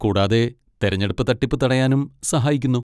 കൂടാതെ തിരഞ്ഞെടുപ്പ് തട്ടിപ്പ് തടയാനും സഹായിക്കുന്നു.